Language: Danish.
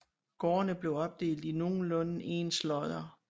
Gårdene blev opdelt i nogenlunde ens lodder